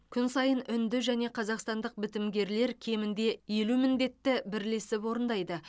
күн сайын үнді және қазақстандық бітімгерлер кемінде елу міндетті бірлесіп орындайды